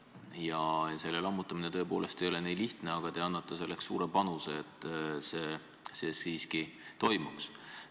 Ja selle lammutamine tõepoolest ei ole lihtne, aga te annate suure panuse, et see siiski toimuks.